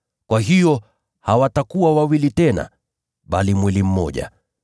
Kwa hiyo hawatakuwa wawili tena, bali mwili mmoja.